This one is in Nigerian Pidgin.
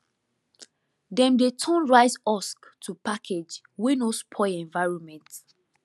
dem dey turn rice husk to package wey no spoil environment